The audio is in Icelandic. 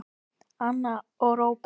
Anna og Róbert.